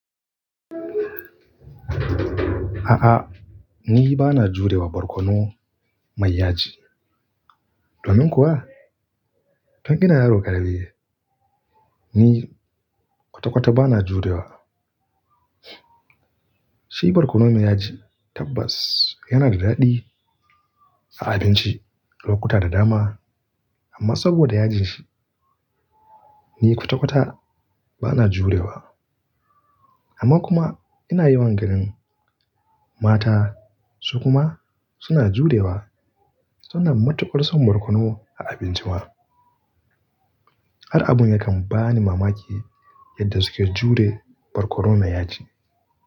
A'a ni ba na jure wa barkono mai yaji. Domin kuwa, tun ina yaro ƙarami ni kwata-kwata ba na jurewa. Shi barkono mai yaji tabbas yana da daɗi a abinci lokuta da dama amma saboda yajin shi, ni kwata-kwata ba na jurewa. Amma kuma ina yawan ganin mata su kuma suna jurewa suna matuƙar son barkono a abinci ma. Har abun yakan bani mamaki yadda suke jure barkono mai yaji.